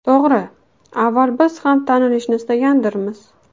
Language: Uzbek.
To‘g‘ri, avval biz ham tanilishni istagandirmiz.